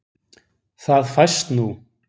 Það fæst nú.